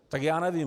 Tak já nevím.